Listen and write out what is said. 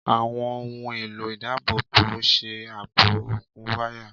Àwọn ohùn èlò ìdábòbòṣe ààbò òkun wáyà.